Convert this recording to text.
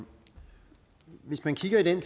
hvis man kigger i den